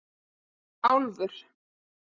Álfur